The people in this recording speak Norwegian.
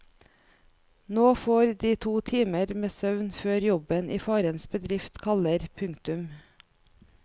Nå får de to timer med søvn før jobben i farens bedrift kaller. punktum